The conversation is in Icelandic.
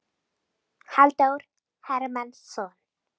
Halldór Hermannsson.